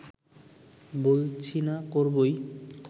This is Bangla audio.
বলছি না করবোই